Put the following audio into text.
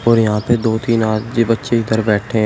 और यहां पे दो तीन आदमी बच्चे इधर बैठे हैं।